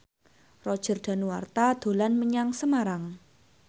Roger Danuarta dolan menyang Semarang